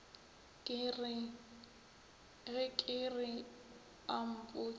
ge ke re a mpotše